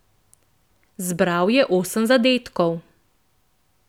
Zbral je osem zadetkov.